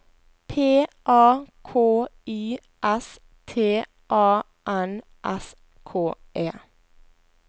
P A K I S T A N S K E